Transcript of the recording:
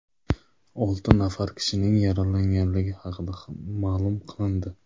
Olti nafar kishining yaralanganligi haqida ma’lum qilindi.